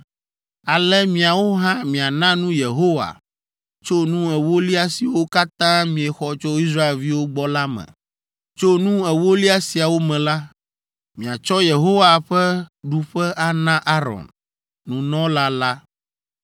Ale miawo hã miana nu Yehowa tso nu ewolia siwo katã miexɔ tso Israelviwo gbɔ la me. Tso nu ewolia siawo me la, miatsɔ Yehowa ƒe ɖuƒe ana Aron, nunɔla la.